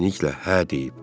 Qız əminliklə hə deyib.